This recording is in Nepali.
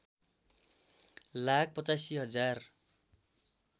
लाख ८५ हजार